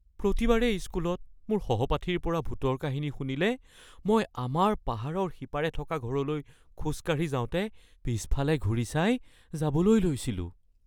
প্ৰতিবাৰেই স্কুলত মোৰ সহপাঠীৰ পৰা ভূতৰ কাহিনী শুনিলে মই আমাৰ পাহাৰৰ সিপাৰে থকা ঘৰলৈ খোজকাঢ়ি যাওঁতে পিছফালে ঘূৰি চাই যাবলৈ লৈছিলোঁ